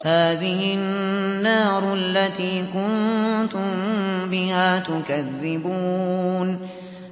هَٰذِهِ النَّارُ الَّتِي كُنتُم بِهَا تُكَذِّبُونَ